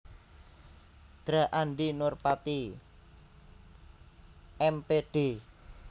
Dra Andi Nurpati M Pd